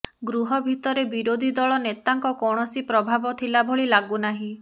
ଗୃହ ଭିତରେ ବିରୋଧୀ ଦଳ ନେତାଙ୍କ କୌଣସି ପ୍ରଭାବ ଥିଲା ଭଳି ଲାଗୁନାହିଁ